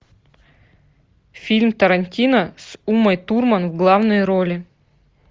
фильм тарантино с умой турман в главной роли